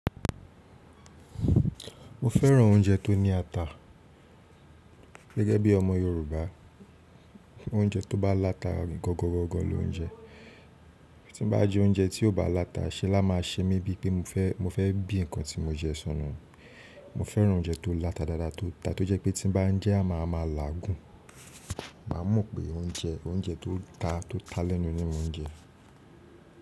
Mo fẹ́ràn oúnjẹ tó ní ata. Gẹ́gẹ́ bí ọmọ Yorùbá, oúnjẹ tó bá lata gọ̀gọ̀gọ̀gọ̀ ni ó jẹ. Tí n bá jẹ oúnjẹ tí ò bá lata, ṣe lá máa ṣe mi bíi pé mo fẹ́, mo fẹ́ bí nǹkan tí mo jẹ sọnù. Mo fẹ́ràn oúnjẹ tó lata dáadáa, tó ta, tó jẹ́ pé tí n bá jẹ́ a máa máa làágùn. Má mọ̀ pé oúnjẹ, oúnjẹ tó ta, tó ta lẹ́nu ni mo n jẹ.